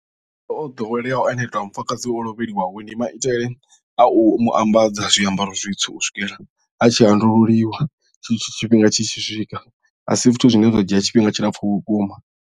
Maitele o ḓoweleaho a mufumakadzi o lovheliwa ho ndi maitele a u mu ambadza zwiambaro zwitsu u swikela a tshi handululiwa tshe tsho tshifhinga tshi tshi swika a si zwithu zwine zwa dzhia tshifhinga tshilapfu vhukuma.